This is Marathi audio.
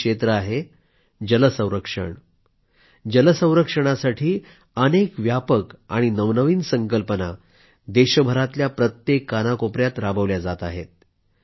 हे क्षेत्र आहे जल संरक्षण जल संरक्षणासाठी अनेक व्यापक आणि नवनवीन संकल्पना देशभरातल्या प्रत्येक कानाकोपयात राबवल्या जात आहेत